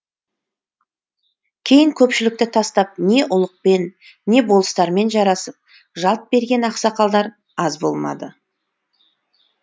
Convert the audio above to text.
кейін көпшілікті тастап не ұлықпен не болыстармен жарасып жалт берген ақсақалдар аз болмады